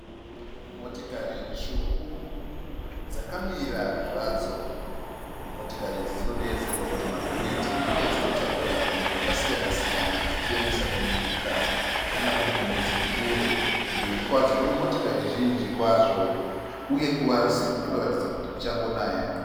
Motikari tsvuku dzakamira zvadzo . Motikari idzi dzinodeedzerwa kuti magonyeti uye dzinotakura zvunhu zvakasiyana dzichiendesa kunyika kana kunzvimbo dziri kure. Mberi kwadzo kune motikari zhinji kwazvo, uye pasi kunoratidza kuti kuchangonaya.